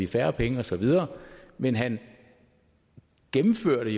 færre penge og så videre men han gennemførte